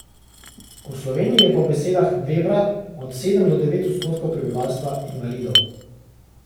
V Sloveniji je po besedah Vebra od sedem do devet odstotkov prebivalstva invalidov.